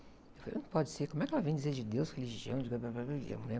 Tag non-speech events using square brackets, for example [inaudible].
Eu falei, não pode ser, como é que ela vem dizer de deus, religião, [unintelligible] né?